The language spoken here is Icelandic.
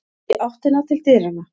Í áttina til dyranna.